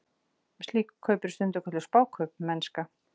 Slík kaup eru stundum kölluð spákaupmennska.